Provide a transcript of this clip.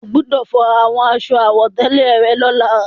O gbọdọ̀ fọ àwọn aṣọ àwọ̀tẹ́lẹ̀ rẹ lọ́la.